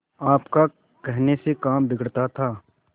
आपका कहने से काम बिगड़ता था